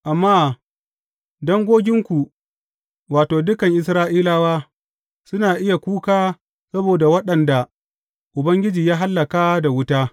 Amma dangoginku, wato, dukan Isra’ilawa, suna iya kuka saboda waɗanda Ubangiji ya hallaka da wuta.